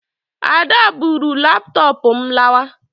Ada buuru laptoopu m lawa